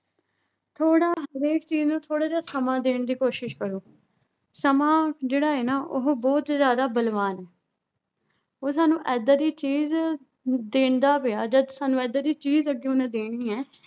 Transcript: ਥੋੜ੍ਹਾ ਹਰੇਕ ਚੀਜ਼ ਨੂੰ ਥੋੜ੍ਹਾ ਜਿਹਾ ਸਮਾਂ ਦੇਣ ਦੀ ਕੋਸ਼ਿਸ਼ ਕਰੋ, ਸਮਾਂ ਜਿਹੜਾ ਹੈ ਨਾ ਉਹ ਬਹੁਤ ਜ਼ਿਆਦਾ ਬਲਵਾਨ ਹੈ ਉਹ ਸਾਨੂੰ ਏਦਾਂ ਦੀ ਚੀਜ਼ ਦਿੰਦਾ ਪਿਆ ਜਾਂ ਸਾਨੂੰ ਏਦਾਂ ਦੀ ਚੀਜ਼ ਅੱਗੇ ਉਹਨੇ ਦੇਣੀ ਹੈ